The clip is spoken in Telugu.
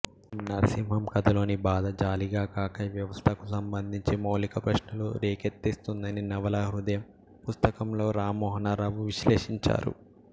నర్సింహం కథలోని బాధ జాలిగా కాక వ్యవస్థకు సంబంధించి మౌలికప్రశ్నలు రేకెత్తిస్తుందని నవలా హృదయం పుస్తకంలో రామమోహనరావు విశ్లేషించారు